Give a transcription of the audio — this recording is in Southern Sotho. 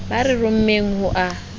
ba re rommeng ho a